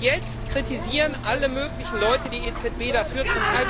Und jetzt kritisieren alle möglichen Leute die EZB dafür.